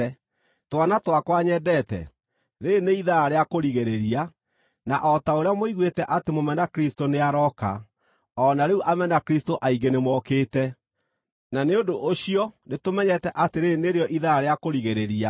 Twana twakwa nyendete, rĩĩrĩ nĩ ithaa rĩa kũrigĩrĩria; na o ta ũrĩa mũiguĩte atĩ mũmena-Kristũ nĩarooka, o na rĩu amena-Kristũ aingĩ nĩmokĩte. Na nĩ ũndũ ũcio nĩtũmenyete atĩ rĩĩrĩ nĩrĩo ithaa rĩa kũrigĩrĩria.